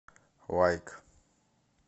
лайк